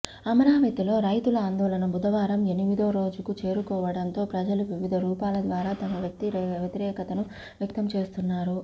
అమరావతిలో రైతుల ఆందోళన బుధవారం ఎనిమిదో రోజుకు చేరుకోవడంతో ప్రజలు వివిధ రూపాల ద్వారా తమ వ్యతిరేకతను వ్యక్తం చేస్తున్నారు